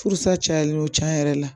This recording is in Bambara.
Furusa cayalen don cɛn yɛrɛ la